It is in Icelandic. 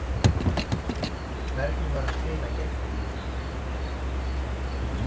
Hvernig var að spila gegn henni?